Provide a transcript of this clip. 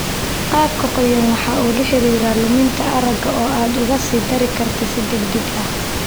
Qaabka qoyan waxa uu la xidhiidha luminta aragga oo aad uga sii dari karta si degdeg ah.